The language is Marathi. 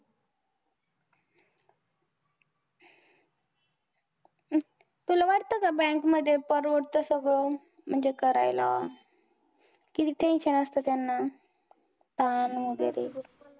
तुला वाटतं का bank मध्ये परवडतं सगळं. म्हणजे करायला. किती tension असतं त्यांना, ताण वगैरे.